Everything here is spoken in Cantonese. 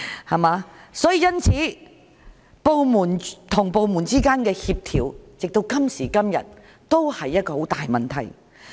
直到今時今日，部門之間的協調仍是一個很大的問題。